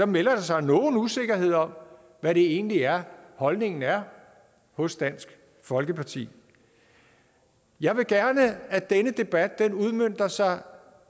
melder sig nogen usikkerhed om hvad det egentlig er holdningen er hos dansk folkeparti jeg vil gerne at denne debat udmønter sig